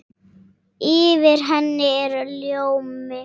Yfir henni er ljómi.